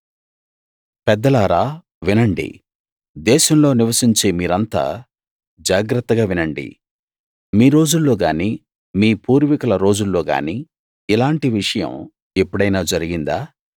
పెద్దలారా వినండి దేశంలో నివసించే మీరంతా జాగ్రత్తగా వినండి మీ రోజుల్లో గానీ మీ పూర్వీకుల రోజుల్లో గానీ ఇలాంటి విషయం ఎప్పుడైనా జరిగిందా